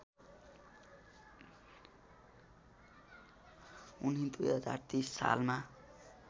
उनी २०३० सालमा